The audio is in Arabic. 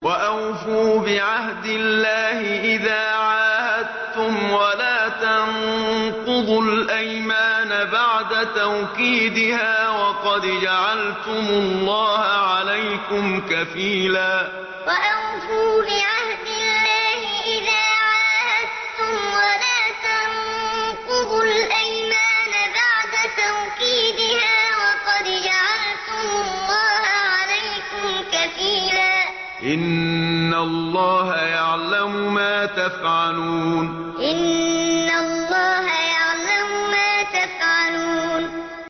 وَأَوْفُوا بِعَهْدِ اللَّهِ إِذَا عَاهَدتُّمْ وَلَا تَنقُضُوا الْأَيْمَانَ بَعْدَ تَوْكِيدِهَا وَقَدْ جَعَلْتُمُ اللَّهَ عَلَيْكُمْ كَفِيلًا ۚ إِنَّ اللَّهَ يَعْلَمُ مَا تَفْعَلُونَ وَأَوْفُوا بِعَهْدِ اللَّهِ إِذَا عَاهَدتُّمْ وَلَا تَنقُضُوا الْأَيْمَانَ بَعْدَ تَوْكِيدِهَا وَقَدْ جَعَلْتُمُ اللَّهَ عَلَيْكُمْ كَفِيلًا ۚ إِنَّ اللَّهَ يَعْلَمُ مَا تَفْعَلُونَ